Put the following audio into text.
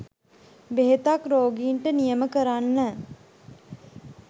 බෙහෙතක් රෝගීන්ට නියම කරන්න